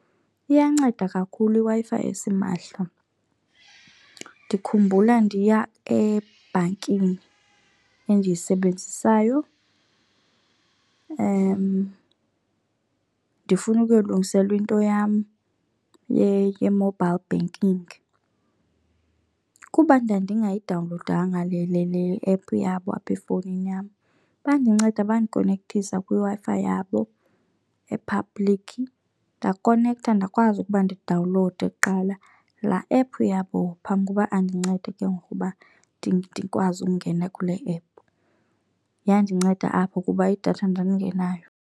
Iyanceda kakhulu iWi-Fi esimahla. Ndikhumbula ndiya ebhankini endiyisebenzisayo ndifuna ukuyolungiselwa into yam ye-mobile banking. Kuba ndandingayidawunlodanga le ephu yabo apha efowunini yam bandinceda bandikonekthisa kwiWi-Fi yabo e-public. Ndakonektha ndakwazi ukuba ndidawunlowude kuqala laa ephu yabo phambi koba andincede ke ngoku uba ndikwazi ukungena kule ephu. Yandinceda apho kuba idatha ndandingenayo.